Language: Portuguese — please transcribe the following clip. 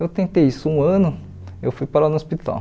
Eu tentei isso um ano, eu fui parar no hospital.